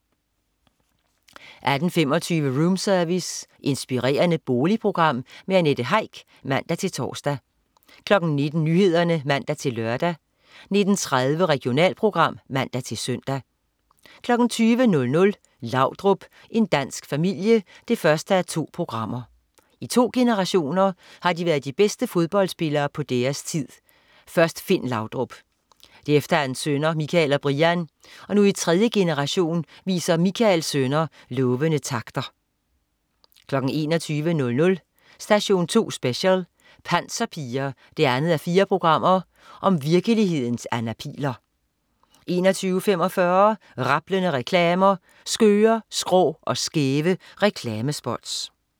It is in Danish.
18.25 Roomservice. Inspirerende boligprogram. Annette Heick (man-tors) 19.00 Nyhederne (man-lør) 19.30 Regionalprogram (man-søn) 20.00 Laudrup, en dansk familie 1:2. I to generationer har de været de bedste fodboldspillere på deres tid. Først Finn Laudrup. Derefter hans sønner, Michael og Brian. Og nu i tredje generation viser Michaels sønner lovende takter 21.00 Station 2 Special: Panserpiger 2:4. Virkelighedens Anna Pihl'er 21.45 Rablende reklamer. Skøre, skrå og skæve reklamespots